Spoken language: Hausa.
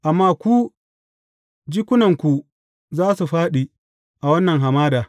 Amma ku, jikunanku za su fāɗi a wannan hamada.